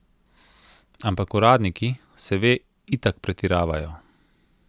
Ampak uradniki, se ve, itak pretiravajo.